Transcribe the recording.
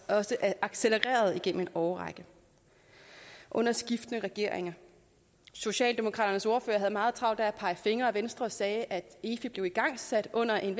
også accelereret igennem en årrække under skiftende regeringer socialdemokraternes ordfører havde meget travlt med at pege fingre ad venstre ordføreren sagde at efi blev igangsat under en